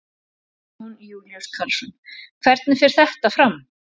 Jón Júlíus Karlsson: Hvernig fer þetta fram?